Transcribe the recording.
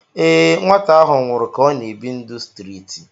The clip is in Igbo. ee, nwata ahụ nwụrụ ka ọ na-ebi ndụ streeti